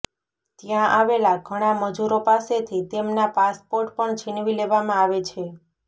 ત્યાં આવેલા ઘણા મજૂરો પાસે થી તેમના પાસપોર્ટ પણ છીનવી લેવા મા આવે છે